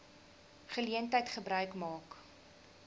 geleentheid gebruik maak